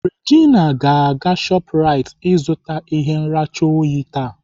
Regina ga-aga Shoprite ịzụta ihe nracha oyi taa.